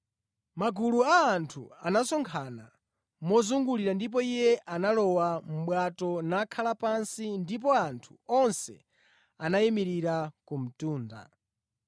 Magulu a anthu anasonkhana mozungulira ndipo Iye analowa mʼbwato nakhala pansi ndipo anthu onse anayimirira ku mtunda.